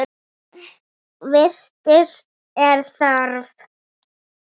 Vits er þörf